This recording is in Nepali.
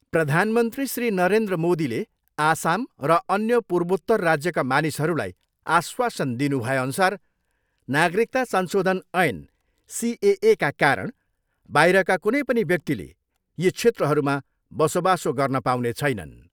प्रधानमन्त्री श्री नरेन्द्र मोदीले आसाम र अन्य पूर्वोत्तर राज्यका मानिसहरूलाई आश्वासन दिनु भएअनुसार नागरिकता संशोधन ऐन सिएएका कारण बाहिरका कुनै पनि व्यक्तिले यी क्षेत्रहरूमा बसोबासो गर्न पाउने छैनन्।